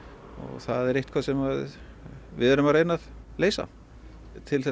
það er eitthvað sem við erum að reyna að leysa til þess